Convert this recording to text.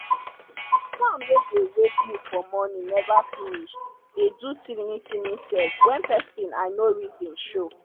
sound wey dey wake me for morin neva finis dey do tinini tinini sef wen pesin i nor reson show